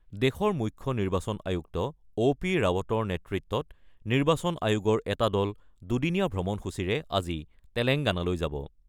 দেশৰ মুখ্য নিৰ্বাচন আয়ুক্ত অ' পি ৰাৱটৰ নেতৃত্বত নিৰ্বাচন আয়োগৰ এটা দল দুদিনীয়া ভ্ৰমণসূচীৰে আজি তেলেংগানালৈ যাব।